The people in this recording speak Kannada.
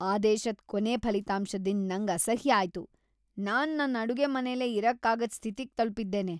ಆದೇಶದ್ ಕೊನೆ ಫಲಿತಾಂಶದಿಂದ್ ನಂಗ್ ಅಸಹ್ಯ ಆಯ್ತು. ನಾನ್ ನನ್ ಅಡುಗೆಮನೆಲೆ ಇರಕ್ಕಾಗದ್ ಸ್ಥಿತಿಗೆ ತಲಪಿದ್ದೇನೆ.